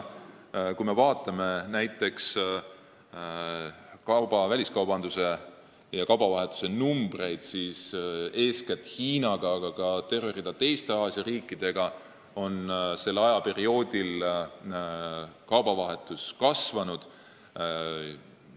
Kui me vaatame eeskätt Hiinaga, aga ka terve rea teiste Aasia riikidega seotud väliskaubanduse numbreid, siis on kaubavahetus kõnealusel ajaperioodil kahtlemata kasvanud.